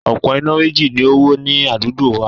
Òpó iná méjì ni o wó ní adúgbo wa